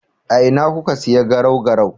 A ina kuka siya garau-garau?